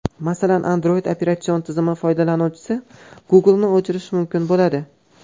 Masalan, Android operatsion tizimi foydalanuvchisi Google’ni o‘chirishi mumkin bo‘ladi.